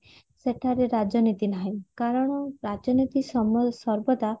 ସେଠାରେ ରାଜନୀତି ନାହିଁ କାରଣ ରାଜନୀତି ସମ ସର୍ବଦା